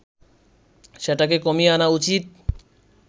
সেটাকে কমিয়ে আনা উচিত